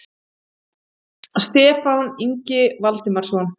Stefán Ingi Valdimarsson.